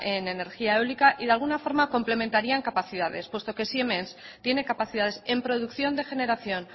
en energía eólica y de alguna forma complementaría en capacidades puesto que siemens tiene capacidades en producción de generación